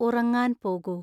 ഉറങ്ങാൻ പോകൂ